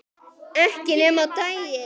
Ekki nema á daginn